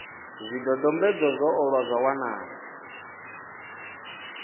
zwidodombedzwa zwo ṱolwa zwa wanala